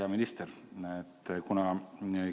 Hea minister!